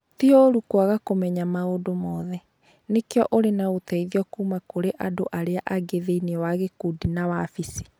Ti ũũru kwaga kũmenya maũndũ mothe. Nĩkĩo ũrĩ na ũteithio kuuma kũrĩ andũ arĩa angĩ thĩinĩ wa gĩkundi na wabici.